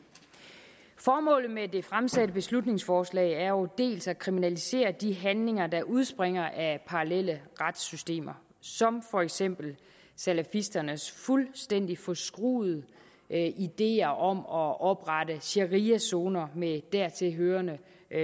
formålet med det fremsatte beslutningsforslag er jo dels at kriminalisere de handlinger der udspringer af parallelle retssystemer som for eksempel salafisternes fuldstændig forskruede ideer om at oprette shariazoner med dertilhørende